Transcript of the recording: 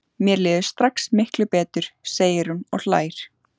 Mér líður strax miklu betur, segir hún og hlær.